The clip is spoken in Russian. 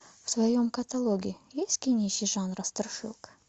в твоем каталоге есть кинище жанра страшилка